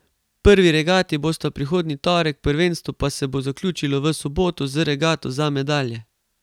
Prvi regati bosta prihodnji torek, prvenstvo pa se bo zaključilo v soboto z regato za medalje.